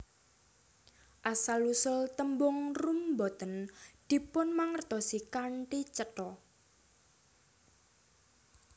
Asal usul tembung rum boten dipunmangertosi kanthi cetha